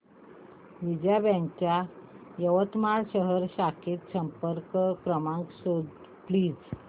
Vijaya bank च्या यवतमाळ शहर शाखेचा संपर्क क्रमांक शोध प्लीज